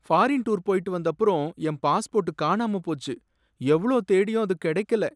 Foreign tour போயிட்டு வந்தப்புறம் என் பாஸ்போர்ட் காணாம போச்சு, எவ்ளோ தேடியும் அது கடைக்கல.